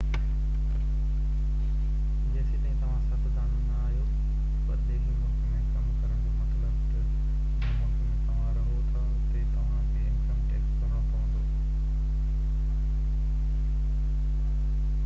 جيستائين توهان سياستدان نہ آهيو پرڏيهي ملڪ ۾ ڪم ڪرڻ جو مطلب تہ جنهن ملڪ ۾ توهان رهو ٿا اتي توهان کي انڪم ٽيڪس ڀرڻو پوندو